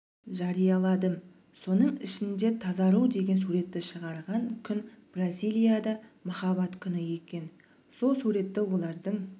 жарияладым соның ішінде тазару деген суретті шығарған күн бразиялияда махаббат күні екен сол суретті олардың